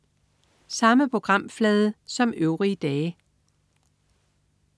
Samme programflade som øvrige dage